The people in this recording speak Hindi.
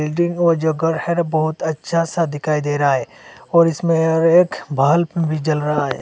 बिल्डिंग ओ जो घर है न बहोत अच्छा सा दिखाई दे रहा है और इसमें और एक बल्ब भी जल रहा है।